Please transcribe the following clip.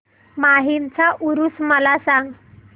माहीमचा ऊरुस मला सांग